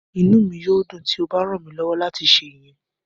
Inu mi yoo dun ti o ba ran mi lọwọ lati ṣe iyẹn.